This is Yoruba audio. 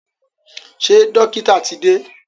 Ṣé dọ́kítà ti dé?